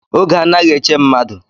Ógè anaghị eche mmadụ.